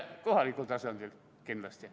Kohalikul tasandil kindlasti.